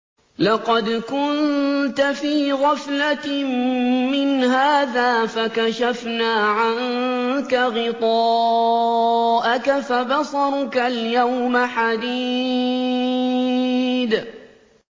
لَّقَدْ كُنتَ فِي غَفْلَةٍ مِّنْ هَٰذَا فَكَشَفْنَا عَنكَ غِطَاءَكَ فَبَصَرُكَ الْيَوْمَ حَدِيدٌ